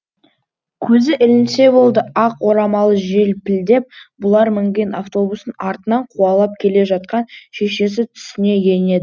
көзі ілінсе болды ақ орамалы желпілдеп бұлар мінген автобустың артынан қуалап келе жатқан шешесі түсіне енеді